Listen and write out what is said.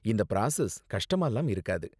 இந்த பிராசஸ் கஷ்டமாலாம் இருக்காது.